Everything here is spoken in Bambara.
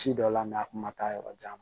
Ci dɔ la a kun ma taa yɔrɔ jan